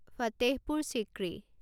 Fatehpur Sikri